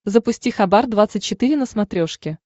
запусти хабар двадцать четыре на смотрешке